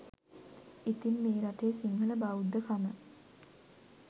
ඉතින් මේ රටේ සිංහල බෞද්ධකම